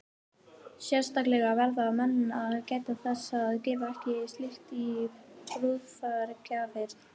Sérstaklega verða menn að gæta þess að gefa ekki slíkt í brúðargjafir.